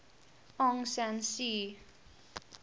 aung san suu